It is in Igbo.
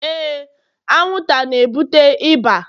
Éè,. anwụnt it's, a na-ebute ịba